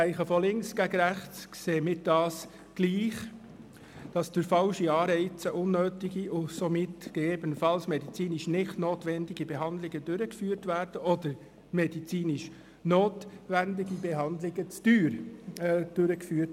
Ich denke, von links nach rechts sehen wir dies gleich: Durch falsche Anreize werden unnötige und somit gegebenenfalls medizinisch nicht notwendige Behandlungen durchgeführt, oder medizinisch notwendige Behandlungen werden zu teuer durchgeführt.